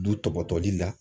Du tɔpɔtɔli la